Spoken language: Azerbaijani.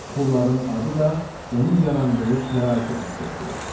Belə suxurların adı da onun yarandığı şəraiti əks etdirir.